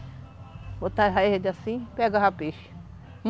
Botava ele assim, pegava peixe.